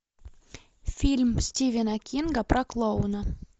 фильм стивена кинга про клоуна